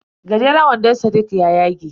Gajeran wandon sadiq ya yage.